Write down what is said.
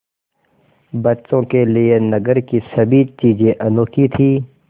बच्चों के लिए नगर की सभी चीज़ें अनोखी थीं